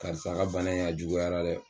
Karisa la bana in a juguyara dɛ